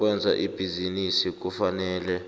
lokwenza ibhizinisi kufanele